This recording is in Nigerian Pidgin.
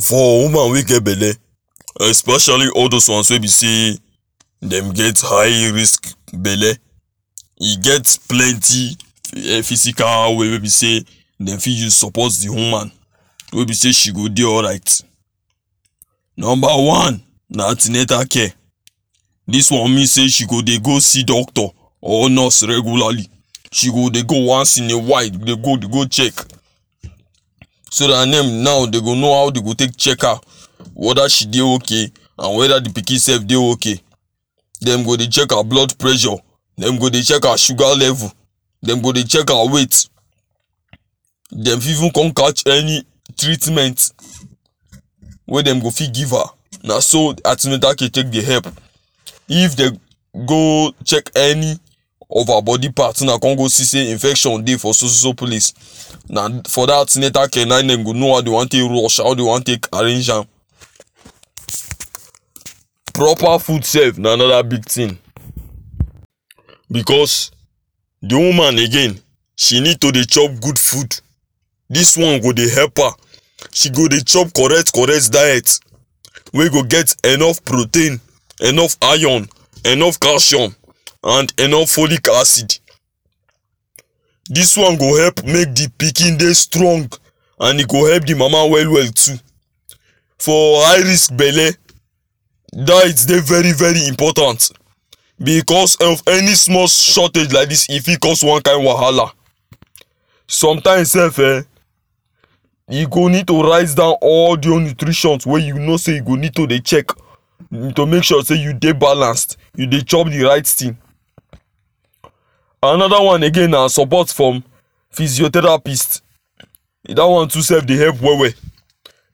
For woman wey get belle epecially all those ones wey be sey dem get high risk belle e get plenty um physical way wey be sey dey fit use support the woman wey be sey she go dey alright number one na an ten atal care dis one mean sey she go dey go see doctor or nurse regulary she go dey go once in a while dey go dey go check so dat dem now dey go know how dey go take check her weda she dey ok and weda the pikin sef dey ok dem go dey check her blood pressure dem go dey check her sugar level dem go dey check her weight dem fi even come catch any treatment wen dem go fit give her na so an ten atal care take dey help if dey go check any of her body part wey na con go see sey infection dey for so so place na for that an ten atal care na dey go no how dey won take rush am dey won take arrrange am proper food self na anoder big tin because de woman again she need to dey chop good food dis one go dey help her she go dey chop correct correct diet wey go get enough protein enough iron enough calcium and enough folic acid dis one go help make the pikin dey strong and he go help the mama well well too for high risk belle diet dey vey very important because of any small shortage like dis e fi cause wan kind wahala some times self eh you go need to write down all the whole nutrition wen you know say you go need to dey check to make sure say e dey balance you dey chop the right tin anoda one again na support from pysiotherapist da one too sef dey help well well